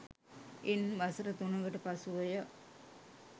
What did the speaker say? ඉන් වසර තුනකට පසුවය